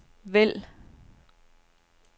vælg